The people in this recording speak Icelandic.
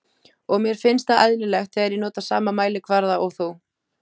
Og mér finnst það eðlilegt þegar ég nota sama mælikvarða og þú.